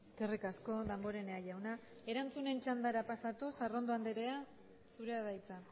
eskerrik asko damborenea jauna erantzunen txandara pasatuz arrondo andrea zurea da hitza